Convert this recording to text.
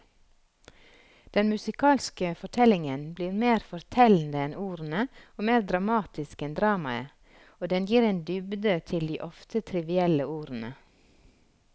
Den musikalske fortellingen blir mer fortellende enn ordene og mer dramatisk enn dramaet, og den gir en dybde til de ofte trivielle ordene.